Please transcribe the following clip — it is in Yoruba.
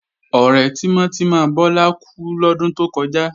Ọ̀rẹ́ tímọ́ tímọ́ Bọ́lá kú lọ́dún tó kọjá